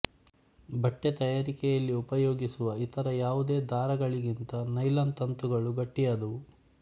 ಬಟ್ಟೆ ತಯಾರಿಕೆಯಲ್ಲಿ ಉಪಯೋಗಿಸುವ ಇತರ ಯಾವುದೇ ದಾರಗಳಿಗಿಂತ ನೈಲಾನ್ ತಂತುಗಳು ಗಟ್ಟಿಯಾದವು